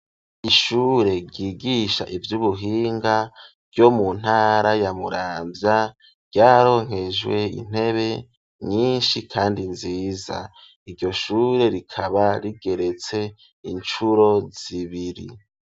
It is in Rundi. Ishure ryigisha ivy'ubuhinga ryo mu ntara ya Muramvya, ryararonkejwe intebe nyinshi kandi nziza. Iryo shure rikaba rigeretse incuro zibiri.